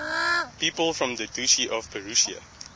people from the duchy of prussia